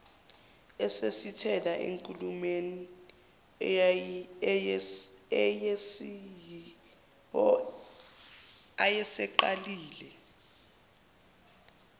esethasisela enkulumeni ayeseyiqalile